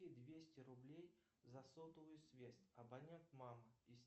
двести рублей за сотовую связь абонент мама